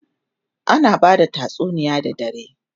ana bada tatsuniya da dare